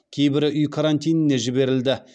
кейбірі үй карантиніне жіберілді